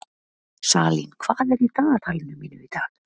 Salín, hvað er í dagatalinu mínu í dag?